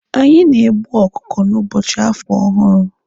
Anyị na-egbu ọkụkụ n'ụbọchị afọ ọhụrụ.